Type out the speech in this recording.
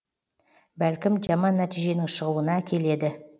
бәлкім жаман нәтиженің шығуына әкеледі